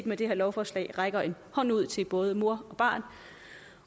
med det her lovforslag rækker en hånd ud til både mor og barn